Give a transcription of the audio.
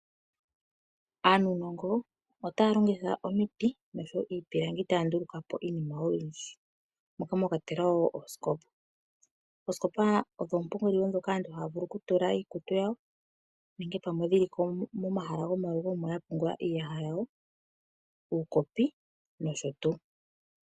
Aanunongo otaya longitha omiti osho wo iipilangi otaya nduluka po iinima oyindji, moka mwa kwatelwa oosikopa. Oosikopa ondho oopungulilo ndhoka aantu haya vulu okutula iikutu yawo, nenge momalugo omo ma tulwa iiyaha, uukopi nosho tuu.